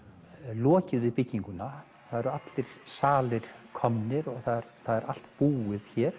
lokið við bygginguna eru allir salir komnir og allt búið hér